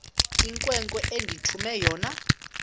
inkwenkwe endithume yona